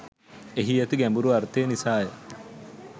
එහි ඇති ගැඹුරු අර්ථය නිසා ය.